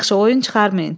Yaxşı, oyun çıxarmayın.